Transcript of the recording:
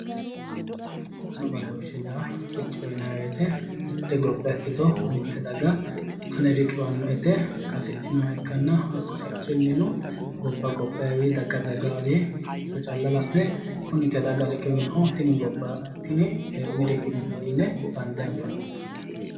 Sicconna badooshshe yaa siccoho yinayi woyite mitte gobba ikkito mitte daga ane riqiwannoe yite qasidhinoha ikkanna hakku sicciyino gobba gobbayiwiinni daga dagayiwiinni sicco calla la'ne kuni te daga riqiwinoho tini tenne riqibbino yine bande anfannite.